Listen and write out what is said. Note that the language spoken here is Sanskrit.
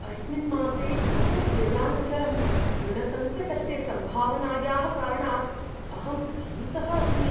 अस्मिन् मासे बहुव्ययानन्तरम् ऋणसङ्कटस्य सम्भावनायाः कारणात् अहं भीतः अस्मि।